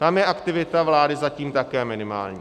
Tam je aktivita vlády zatím také minimální.